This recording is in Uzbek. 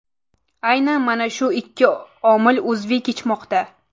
Aynan mana shu ikki omil uzviy kechmoqda.